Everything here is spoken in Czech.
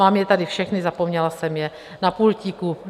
Mám je tady všechny, zapomněla jsem je na pultíku.